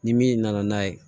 Ni min nana n'a ye